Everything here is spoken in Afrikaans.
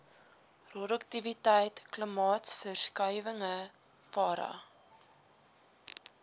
roduktiwiteit klimaatsverskuiwinhg vera